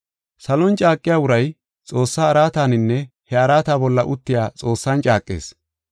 Salon caaqiya uray Xoossaa araataninne he araata bolla uttiya Xoossan caaqees.